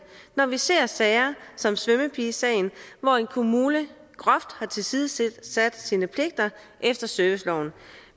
når vi ser sager som svømmepige sagen hvor en kommune groft har tilsidesat sine pligter efter serviceloven